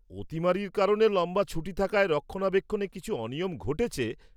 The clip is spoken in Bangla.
অতিমারীর কারণে লম্বা ছুটি থাকায় রক্ষণাবেক্ষণে কিছু অনিয়ম ঘটেছে।